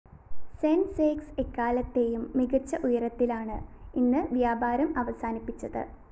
സെന്‍സെക്സ് എക്കാലത്തെയും മികച്ച ഉയരത്തിലാണ് ഇന്ന് വ്യാപാരം അവസാനിപ്പിച്ചത്